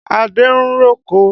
Adé ń roko.